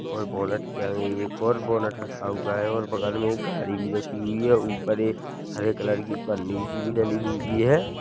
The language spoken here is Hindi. और बोलट के आगे एक और बोलट रखा हुआ और बगल मे एक गाड़ी भी रखी हुई हें ऊपर एक हरे कलर की पन्नी सी भी डली हुई हें।